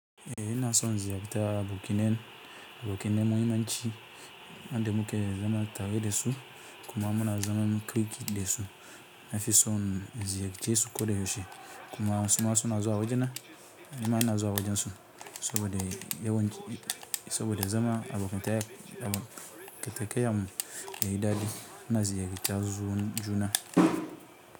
Eyi ina son ziyarta bikine, bikine me mai muhimmanci, ande muke zama tare de su kuma muna zaman kirki de su nafi son in ziyarce su koda yaushe kuma suma suna zuwa wajena, nima ina zuwa wajen su saboda yawanci saboda zama abokan ta keteke yayi daɗi muna ziyarta juna.